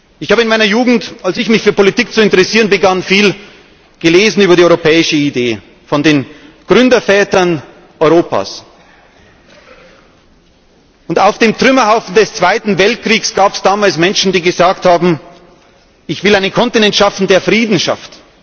Ich habe in meiner Jugend, als ich mich für Politik zu interessieren begann, viel gelesen über die europäische Idee, von den Gründervätern Europas. Auf dem Trümmerhaufen des Zweiten Weltkriegs gab es damals Menschen, die gesagt haben Ich will einen Kontinent schaffen, der Frieden schafft.